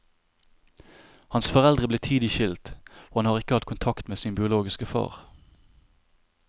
Hans foreldre ble tidlig skilt og han har ikke hatt kontakt med sin biologiske far.